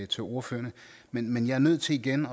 til ordførerne men jeg er nødt til igen